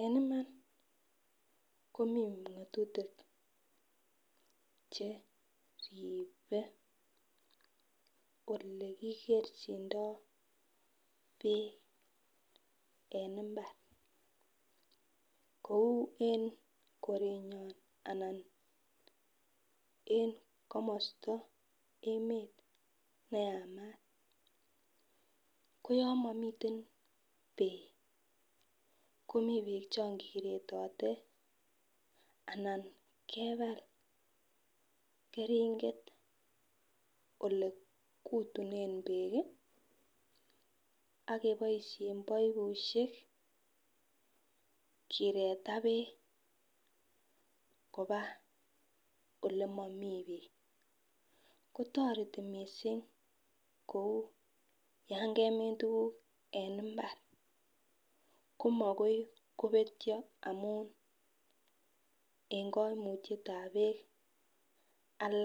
En Iman komii ngotutik cheribe olekikerchindo beek en imbar kou en korenyon anan en komosto emet neyamat ko yon momiten beek komii beek chon koretote ana kebal keringet ole kutunen beek ak keboishen baibushek kireta beek koba ole momii beek kotoreti missing kou yon kemin tukuk en imbar komakoi kobetyo amun en koimutyetab beek